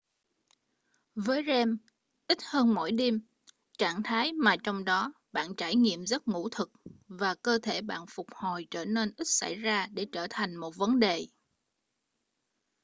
với rem ít hơn mỗi đêm trạng thái mà trong đó bạn trải nghiệm giấc ngủ thực và cơ thể bạn phục hồi trở nên ít xảy ra để trở thành một vấn đề